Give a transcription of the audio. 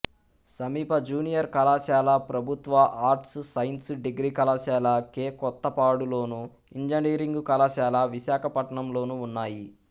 సమీప జూనియర్ కళాశాల ప్రభుత్వ ఆర్ట్స్ సైన్స్ డిగ్రీ కళాశాల కె కొత్తపాడులోను ఇంజనీరింగ్ కళాశాల విశాఖపట్నంలోనూ ఉన్నాయి